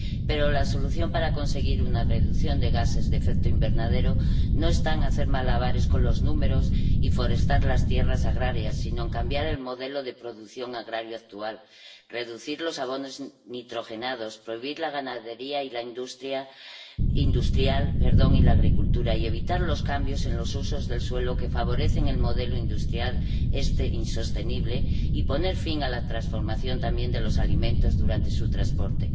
Pero la solución para conseguir una reducción de gases de efecto invernadero no está en hacer malabares con los números y forestar las tierras agrarias, sino en cambiar el modelo de producción agraria actual, reducir los abonos nitrogenados, prohibir la ganadería industrial y la agricultura y evitar los cambios en los usos del suelo que favorecen el modelo industrial este insostenible, y poner fin a la transformación también de los alimentos durante su transporte.